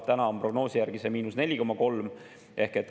Täna on prognoosi järgi see –4,3.